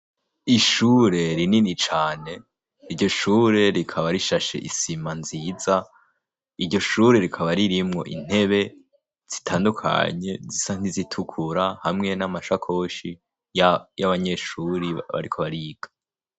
Ishure rinini cane iryo shure rikaba rishashe isima nziza. Iryo shure rikaba ririmwo intebe zitandukanye zisa ntizitukura hamwe n'amashakoshi y'abanyeshuri barikoba riga.